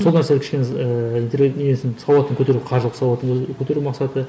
сол нәрсенің кішкене ііі несін сауатын көтеру қаржылық сауатын көтер көтеру мақсаты